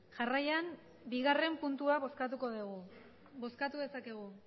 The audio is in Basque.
jarraian bigarrena puntua bozkatuko dugu bozkatu dezakegu